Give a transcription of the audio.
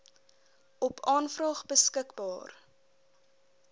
op aanvraag beskikbaar